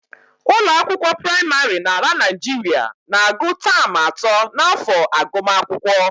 Ụlọakwụkwọ praịmarị n'ala Naijiria na-agụ taam atọ n'afọ agụmakwụkwọ